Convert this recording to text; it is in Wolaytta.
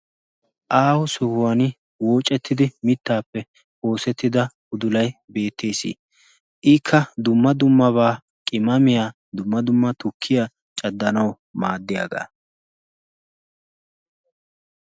aaho sohuwan woocettidi mittaappe oosettida udulai beettees. ikka dumma dummabaa qimamiyaa dumma dumma tukkiya caddanau maaddiyaagaa.